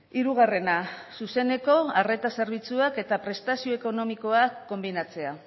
hirugarrena zuzeneko arreta zerbitzuak eta prestazio ekonomikoak konbinatzea